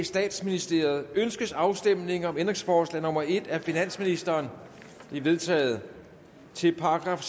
statsministeriet ønskes afstemning om ændringsforslag nummer en af finansministeren det er vedtaget til §